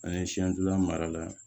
An ye siɲɛ fila mara la